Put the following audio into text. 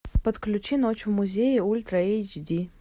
подключи ночь в музее ультра эйч ди